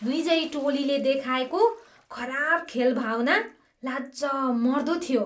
विजयी टोलीले देखाएको खराब खेलभावना लाजमर्दो थियो।